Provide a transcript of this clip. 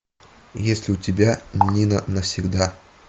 есть ли у тебя нина навсегда